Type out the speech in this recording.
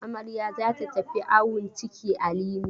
Amarya za ta tafi awon ciki a Limi.